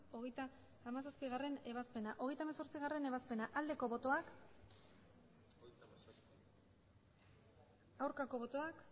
hogeita hamazazpigarrena ebazpena hogeita hemezortzigarrena ebazpena aldeko botoak aurkako botoak